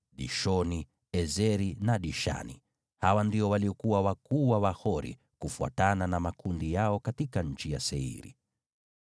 Dishoni, Eseri na Dishani. Hawa ndio walikuwa wakuu wa Wahori, kufuatana na makundi yao, katika nchi ya Seiri.